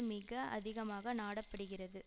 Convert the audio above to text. மிக அதிகமாக நாடப்படுகிறது